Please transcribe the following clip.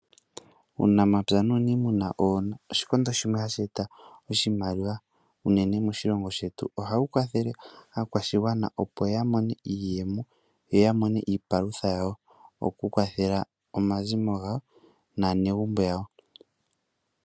Uunamapya nuuniimuna owo oshikondo shimwe hashi eta iimaliwa unene moshilongo shetu. Oha wu kwathele aakwashigwana opo ya mone iiyemo, yo ya mone iipalutha yawo oku kwathela omazimo gawo naa negumbo yawo.